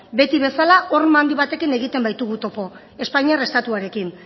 beti bezala horma handi batekin egiten baitugu topo espainiar estatuarekin